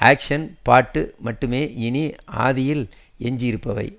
ஆக்ஷ்னு பாட்டும் மட்டுமே இனி ஆதியில் எஞ்சியிருப்பவை